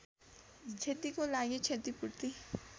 क्षतिको लागि क्षतिपूर्ति